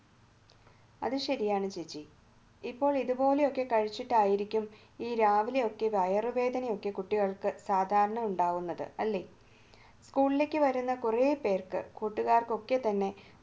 അത് ശരിയാണ് ചേച്ചി ഇപ്പോൾ ഇതുപോലെയൊക്കെ കഴിച്ചിട്ടായിരിക്കും ഈ രാവിലെയൊക്കെ വയറുവേദനയൊക്കെ കുട്ടികൾക്ക് സാധാരണ ഉണ്ടാകുന്നത് അല്ലേ? സ്കൂളിലേക്ക് വരുന്ന കുറെപേർക്ക് കൂട്ടുകാർക്കൊക്കെ തന്നെ